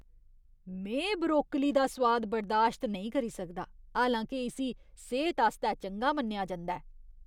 में ब्रोकली दा सोआद बर्दाश्त नेईं करी सकदा, हालांके इस्सी सेह्त आस्तै चंगा मन्नेआ जंदा ऐ।